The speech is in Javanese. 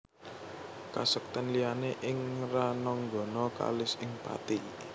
Kasektèn liyané ing rananggana kalis ing pati